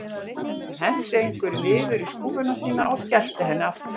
Hún henti einhverju niður í skúffuna sína og skellti henni aftur.